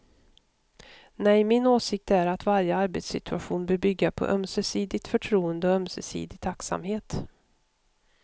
Nej, min åsikt är att varje arbetssituation bör bygga på ömsesidigt förtroende och ömsesidig tacksamhet.